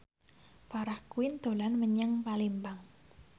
Farah Quinn dolan menyang Palembang